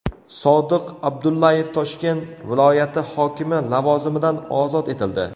Sodiq Abdullayev Toshkent viloyati hokimi lavozimidan ozod etildi .